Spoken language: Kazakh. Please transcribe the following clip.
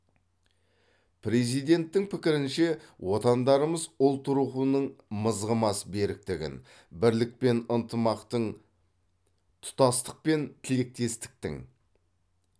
президенттің пікірінше отандарымыз ұлт рухының мызғымас беріктігін бірлік пен ынтымақтың тұтастық пен тілектестіктің